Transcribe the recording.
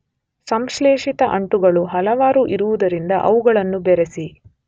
ಸಂಶ್ಲೇಷಿತ ಅಂಟುಗಳು ಹಲವಾರು ಇರುವುದರಿಂದ ಅವುಗಳನ್ನು ಬೆರೆಸಿ